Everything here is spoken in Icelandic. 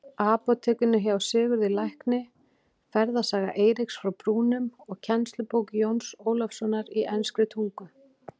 Apótekinu hjá Sigurði lækni, Ferðasaga Eiríks frá Brúnum og kennslubók Jóns Ólafssonar í enskri tungu.